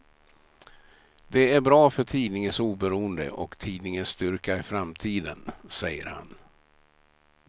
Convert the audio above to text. Det är bra för tidningens oberoende och tidningens styrka i framtiden, säger han.